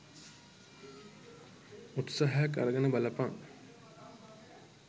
උත්සහයක් අරගෙන බලපන්